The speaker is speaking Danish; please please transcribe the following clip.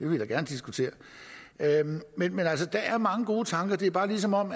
vi da gerne diskutere men der er mange gode tanker det er bare som om